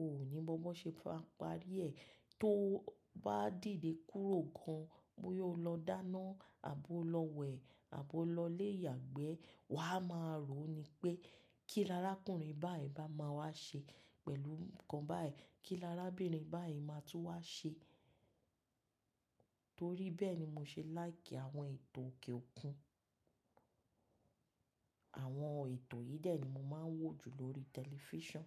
o ò ní mọ̀ bó ṣe fẹ́ parí ẹ̀. Tó bá dìde kúrò gan bó yóò lọ dáná àbo lọ wẹ̀ àbo lọ lé ìyàgbẹ́. Wà á máa ròó ni pé kí lará àkọ́rin báyìí bá máa wá ṣe pẹ̀lú nǹkan báyìí, kí lará abínibáyìí máa tún wá ṣe torí bẹ́ẹ̀ ni mo ṣe láìkì àwọn ètò òkè òkun. Àwọn ètò yìí dè ni mo máa ń wò jù lórí tẹlifísàn.